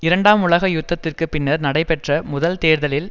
இரண்டாம் உலக யுத்தத்திற்கு பின்னர் நடைபெற்ற முதல் தேர்தலில்